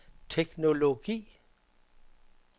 teknologi